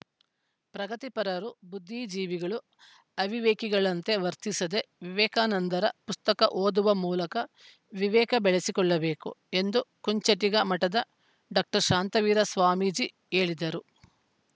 ಪ್ರಗತಿಪರರು ಬುದ್ದಿಜೀವಿಗಳು ಅವಿವೇಕಿಗಳಂತೆ ವರ್ತಿಸದೆ ವಿವೇಕಾನಂದರ ಪುಸ್ತಕ ಓದುವ ಮೂಲಕ ವಿವೇಕ ಬೆಳಸಿಕೊಳ್ಳಬೇಕು ಎಂದು ಕುಂಚಿಟಿಗ ಮಠದ ಡಾಕ್ಟರ್ ಶಾಂತವೀರ ಸ್ವಾಮೀಜಿ ಹೇಳಿದರು